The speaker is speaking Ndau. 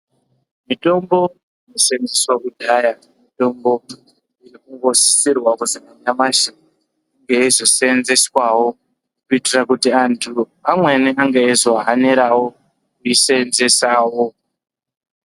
Mitombo yaiseenzeswa kudhaya, mitombo, iri kungosisirwa kuzi nanyamashi, inge yeizoseenzeswawo, kuitira kuti antu amweni, ange eizohanirawo kuiseenzesawo.